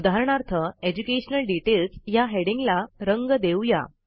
उदाहरणार्थ educational details ह्या हेडिंगला रंग देऊ या